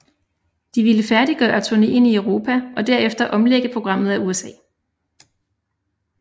De ville færdiggøre turneen i Europa og derefter omlægge programmet of USA